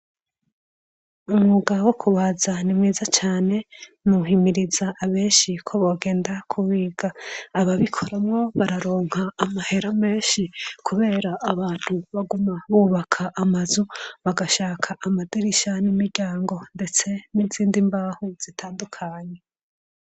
Umwuga wo kubaza nimwiza cane nowuhimiriza benshi ko bogenda kuwiga ababikoramwo bararonka amahera menshi kubera abantu baguma bubaka amazu bagashaka amadirisha n'imiryango ndetse n'izindi mbaho zitandukanye.